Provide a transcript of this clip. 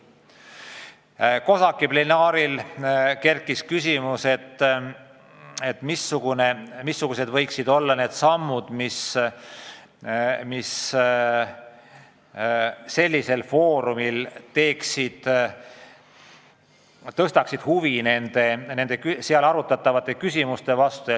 COSAC-i plenaaristungil kerkis üles küsimus, mil moel saaks suurendada huvi sellisel foorumil arutatavate küsimuste vastu.